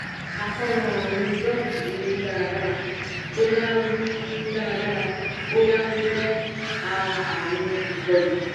àkóràn arun doc wi daradara boya wi daradara boya o jẹ a àrùn ikolu